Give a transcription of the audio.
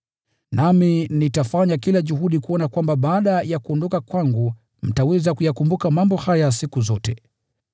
Nami nitafanya kila juhudi kuona kwamba baada ya kuondoka kwangu mtaweza kuyakumbuka mambo haya siku zote.